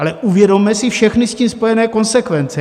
Ale uvědomme si všechny s tím spojené konsekvence.